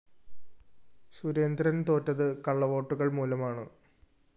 സുരേന്ദ്രന്‍ തോറ്റത് കള്ളവോട്ടുകള്‍ മൂലമാണ്